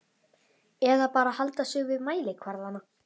Eða bara halda sig við mælikvarðana?